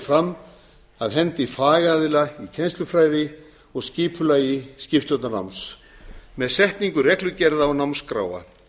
fram af hendi fagaðila í kennslufræði og skipulagi skipstjórnarnáms með setningu reglugerða og námskráa